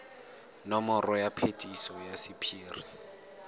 nomoro ya phetiso ya sephiri